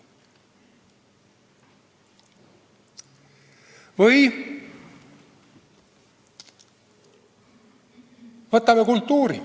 Või võtame kultuuri.